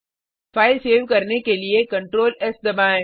file save करने के लिए Ctrl एस दबाएँ